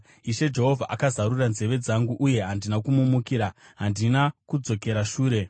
Ishe Jehovha akazarura nzeve dzangu, uye handina kumumukira; handina kudzokera shure.